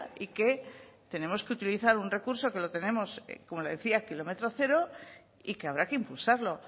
y que tenemos que utilizar un recurso que lo tenemos como le decía kilómetro cero y que habrá que impulsarlo